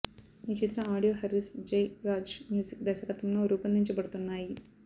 ఈ చిత్ర audio Harris Jayaraj music దర్శకత్వంలో రూపొందించబడుతున్నాయి